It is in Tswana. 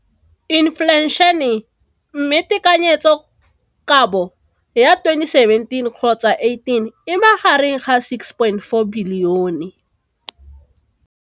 Infleišene, mme tekanyetsokabo ya 2017 kgotsa 18 e magareng ga 6.4 bilione.